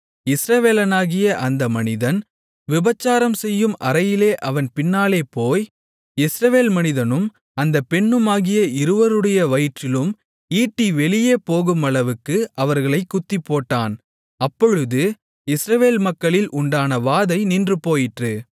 இஸ்ரவேலனாகிய அந்த மனிதன் விபசாரம்செய்யும் அறையிலே அவன் பின்னாலே போய் இஸ்ரவேல் மனிதனும் அந்த பெண்ணுமாகிய இருவருடைய வயிற்றிலும் ஈட்டி வெளியே போகுமளவுக்கு அவர்களைக் குத்திப்போட்டான் அப்பொழுது இஸ்ரவேல் மக்களில் உண்டான வாதை நின்றுபோயிற்று